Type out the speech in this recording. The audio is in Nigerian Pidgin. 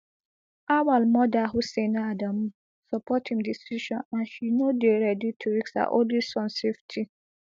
auwal mother hussaina adamu support im decision and she no dey ready to risk her only son safety